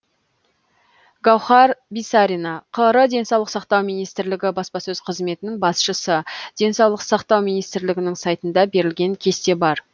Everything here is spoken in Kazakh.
гауһар бисарина қр денсаулық сақтау министрлігі баспасөз қызметінің басшысы денсаулық сақтау министрлігінің сайтында берілген кесте бар